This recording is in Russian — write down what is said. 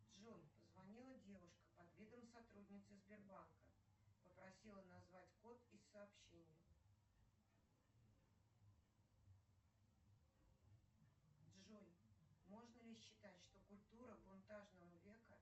джой позвонила девушка под видом сотрудницы сбербанка попросила назвать код из сообщения джой можно ли считать что культура бунтажного века